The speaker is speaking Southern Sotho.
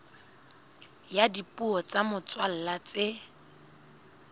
ya dipuo tsa motswalla tse